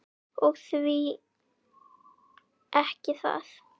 Og því ekki það?